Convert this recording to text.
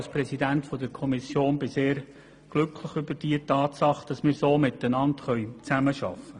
Als Kommissionspräsident bin ich sehr glücklich über die Tatsache, dass wir so miteinander zusammenarbeiten können.